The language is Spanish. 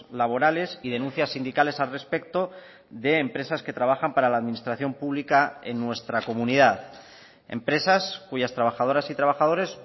laborales y denuncias sindicales al respecto de empresas que trabajan para la administración pública en nuestra comunidad empresas cuyas trabajadoras y trabajadores